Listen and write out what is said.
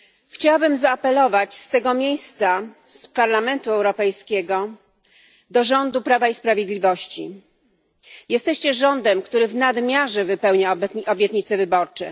Chciałabym zaapelować z tego miejsca, z Parlamentu Europejskiego, do rządu Prawa i Sprawiedliwości jesteście rządem, który w nadmiarze wypełnia obietnice wyborcze.